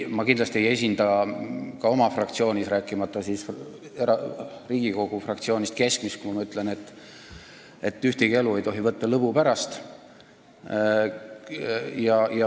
Ma kindlasti ei esinda ka oma fraktsioonis, rääkimata siis Riigikogust, keskmist arvamust, kui ma ütlen, et ühtegi elu ei tohi võtta lõbu pärast.